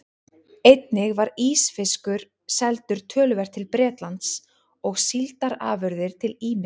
Einnig var ísfiskur seldur töluvert til Bretlands og síldarafurðir til ýmissa